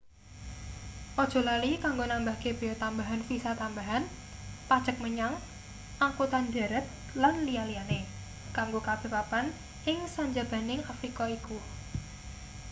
aja lali kanggo nambahke bea tambahan visa tambahan pajek menyang angkutan dharat lan liya-liyane kanggo kabeh papan ing sanjabaning afrika iku